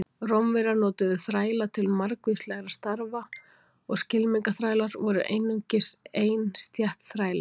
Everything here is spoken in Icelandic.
Rómverjar notuðu þræla til margvíslegra starfa og skylmingaþrælar voru einungis ein stétt þræla.